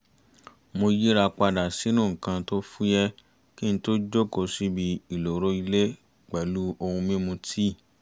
mo yíra padà sínú nǹkan tó fúyẹ́ kí n tó jókòó síbi ìloro ilé pẹ̀lú ohun mímu tíì